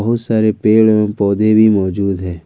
बहुत सारे पेड़ एवम् पौधे भी मौजूद है।